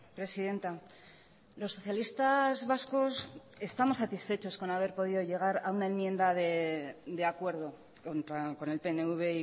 presidenta los socialistas vascos estamos satisfechos con haber podido llegar a una enmienda de acuerdo con el pnv